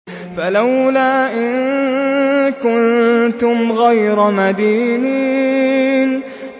فَلَوْلَا إِن كُنتُمْ غَيْرَ مَدِينِينَ